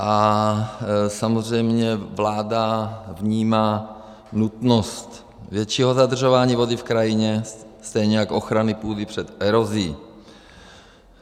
A samozřejmě vláda vnímá nutnost většího zadržování vody v krajině, stejně jak ochrany půdy před erozí.